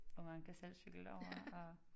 Og man kan selv cykle derovre og